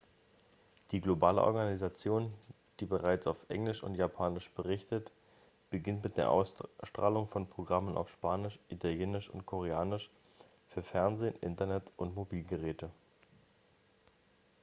die globale organisation die bereits auf englisch und japanisch berichtet beginnt mit der ausstrahlung von programmen auf spanisch italienisch und koreanisch für fernsehen internet und mobilgeräte